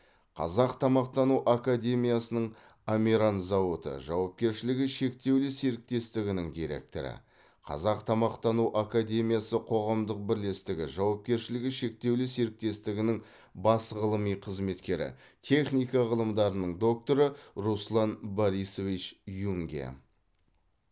қазақ тамақтану академиясының амиран зауыты жауапкершілігі шектеулі серіктестігінің директоры қазақ тамақтану академиясы қоғамдық бірлестігі жауапкершілігі шектеулі серіктестігінің бас ғылыми қызметкері техника ғылымдарының докторы руслан борисович юнге